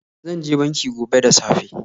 Zan je banki gobe da safe.